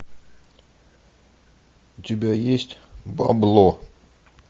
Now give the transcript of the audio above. у тебя есть бабло